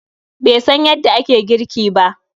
Be san yanda ake girki ba